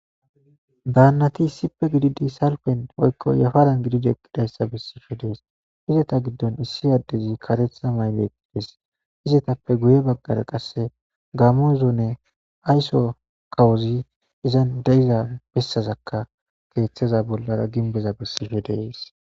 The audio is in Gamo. Baannati issippe gididi salpen oykko yafaran gidid eqqidayssa bessife dees izeta giddon issi addezi katetha mayle eqqides izetappe guye baggara qasse gamozone aysso kawuzi izan deyiza bessazakka keeththeza bollara ginbeza bessife dees.